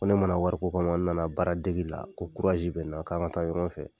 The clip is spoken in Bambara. Ko ne mana wariko kama n nana baaradege de la ko bɛ n na k'an ka taa ɲɔgɔn fɛ.